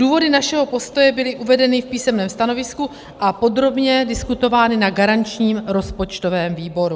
Důvody našeho postoje byly uvedeny v písemném stanovisku a podrobně diskutovány na garančním rozpočtovém výboru.